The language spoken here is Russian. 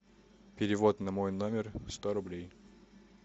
перевод на мой номер сто рублей